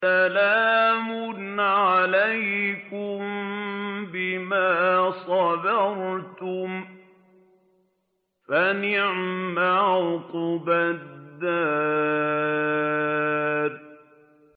سَلَامٌ عَلَيْكُم بِمَا صَبَرْتُمْ ۚ فَنِعْمَ عُقْبَى الدَّارِ